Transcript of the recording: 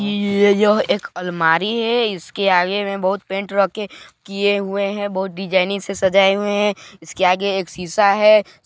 ये यह एक अलमारी है इसके आगे में बुहत पेंट रखे किये हुए है बहुत डिज़निग से सजाये गए हुए है इसके आगे एक शीशा है।